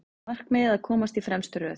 Markmiðið að komast í fremstu röð